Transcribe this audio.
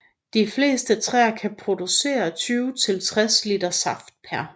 De fleste træer kan producere 20 til 60 liter saft pr